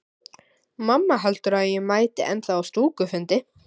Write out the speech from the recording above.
Mamma heldur að ég mæti ennþá á stúkufundi.